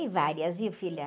foi várias, viu, filha?